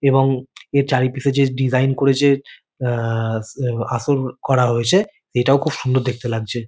এবং এর চারিপেশে যে ডিজাইন করেছে আহ স এব আসল করা হয়েছে এটাও খুব সুন্দর দেখতে লাগছে।